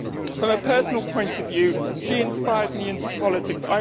From a personal point of view she inspired me into politics.